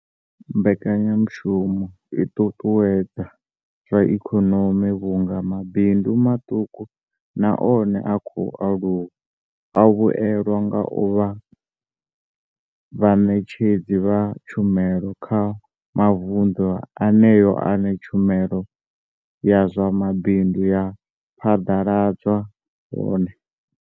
Mbekanyamushumo i ṱuṱuwedza zwa ikonomi vhunga mabindu maṱuku na one a khou aluwa a vhuelwa nga u vha vhaṋetshedzi vha tshumelo kha mavundu eneyo ane tshumelo ya zwa mabindu ya phaḓaladzwa hone.